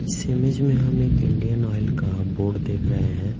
इस इमेज में हम एक इंडियन ऑयल का बोर्ड देख रहे हैं।